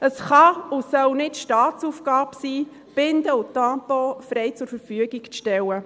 Es kann und soll nicht Staatsaufgabe sein, Binden und Tampons frei zur Verfügung zu stellen.